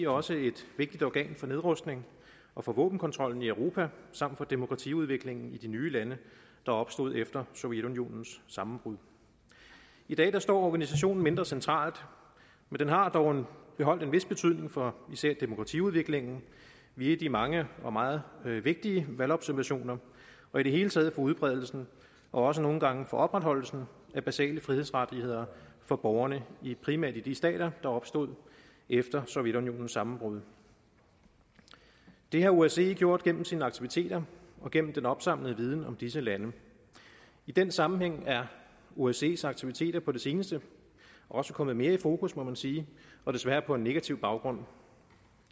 også et vigtigt organ for nedrustning og for våbenkontrollen i europa samt for demokratiudviklingen i de nye lande der opstod efter sovjetunionens sammenbrud i dag står organisationen mindre centralt men den har dog beholdt en vis betydning for især demokratiudviklingen via de mange og meget vigtige valgobservationer og i det hele taget for udbredelsen og også nogle gange for opretholdelsen af basale frihedsrettigheder for borgerne i primært de stater der opstod efter sovjetunionens sammenbrud det har osce gjort gennem sine aktiviteter og gennem den opsamlede viden om disse lande i den sammenhæng er osces aktiviteter på det seneste også kommet mere i fokus må man sige og desværre på en negativ baggrund